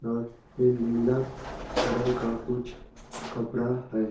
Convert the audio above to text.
और ये नीला रंग का कुछ कपड़ा है।